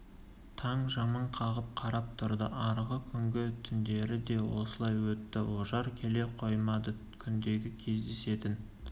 таң жымың қағып қарап тұрды арғы күнгі түндері де осылай өтті ожар келе қоймады күндегі кездесетін